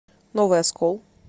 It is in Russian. новый оскол